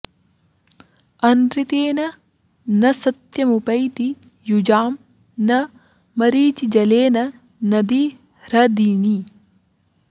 अनृतेन न सत्यमुपैति युजां न मरीचिजलेन नदी ह्रदिनी